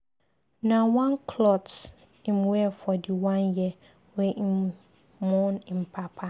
Na one clot im wear for di one year wey im mourn im papa.